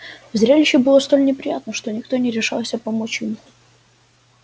зрелище было столь неприятно что никто не решался помочь ему